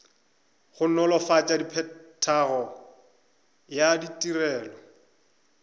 go nolofatša phethagatšo ya ditirelo